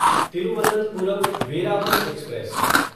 Thiruvananthapuram Veraval express